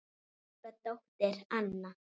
Ykkar dóttir, Anna.